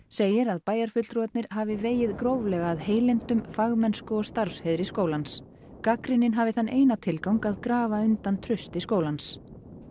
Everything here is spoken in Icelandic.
segir að bæjarfulltrúarnir hafi vegið gróflega að heilindum fagmennsku og starfsheiðri skólans gagnrýnin hafi þann eina tilgang að grafa undan trausti skólans